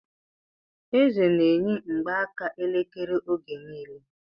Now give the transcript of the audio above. Eze n'eyi mgbaaka elekere oge niile